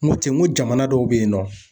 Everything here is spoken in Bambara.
N ko ten n ko jamana dɔw beyinɔ.